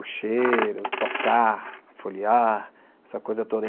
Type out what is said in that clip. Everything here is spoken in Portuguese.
O cheiro, tocar, folhear, essa coisa toda.